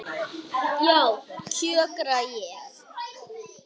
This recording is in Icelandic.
Já, kjökra ég.